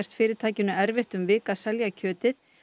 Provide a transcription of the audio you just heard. fyrirtækinu erfitt um vik að selja kjötið